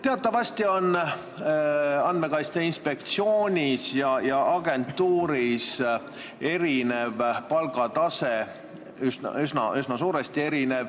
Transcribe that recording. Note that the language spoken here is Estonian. Teatavasti on inspektsioonis ja ametis erinev palgatase, see erineb üsna suuresti.